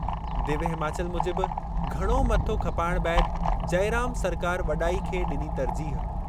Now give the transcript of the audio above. दिव्य हिमाचल मूजिबि घणो मथो खपाइणु बैदि जइराम सरकार वॾाई खे ॾिनी तर्जीह